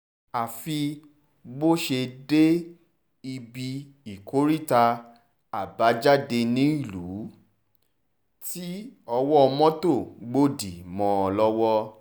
àfi bó ṣe dé ibi ìkóríta àbájáde-nílùú tí owó mọ́tò gbòdì mọ́ ọn lọ́wọ́